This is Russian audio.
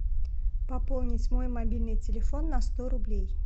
пополнить мой мобильный телефон на сто рублей